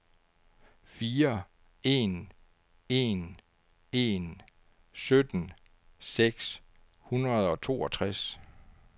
fire en en en sytten seks hundrede og toogtres